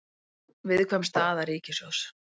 Viðkvæm staða ríkissjóðs